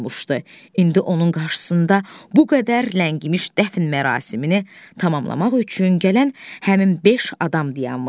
İndi onun qarşısında bu qədər ləngimiş dəfn mərasimini tamamlamaq üçün gələn həmin beş adam dayanmışdı.